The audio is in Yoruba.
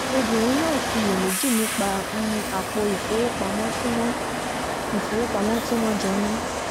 obìnrin náà ṣiyèméjì nípa apò ìfowópamọ́ tí wọ́n ìfowópamọ́ tí wọ́n jọ ní